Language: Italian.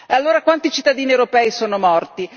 Allora, quanti cittadini europei sono morti?